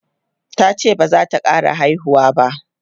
tace bazata ƙara haihuwa ba